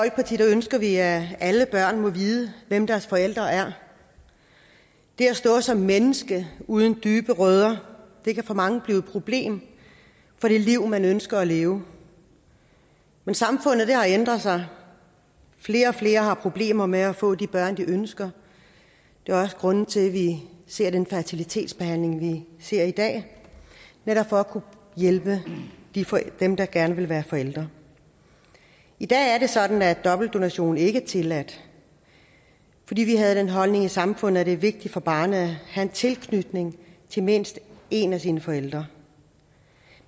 ønsker vi at alle børn må vide hvem deres forældre er det at stå som menneske uden dybe rødder kan for mange blive et problem for det liv man ønsker at leve men samfundet har ændret sig flere og flere har problemer med at få de børn de ønsker det er også grunden til at vi ser den fertilitetsbehandling vi ser i dag netop for at hjælpe dem der gerne vil være forældre i dag er det sådan at dobbeltdonation ikke er tilladt fordi vi havde den holdning i samfundet at det er vigtigt for barnet at have en tilknytning til mindst en af sine forældre